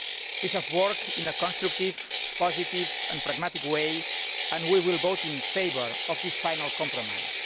We have worked in a constructive, positive and pragmatic way, and we will vote in favour of this final compromise.